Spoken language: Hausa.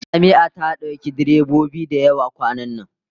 Jami'a ta dauki direbobi da yawa kwanan